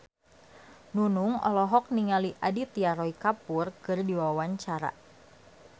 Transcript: Nunung olohok ningali Aditya Roy Kapoor keur diwawancara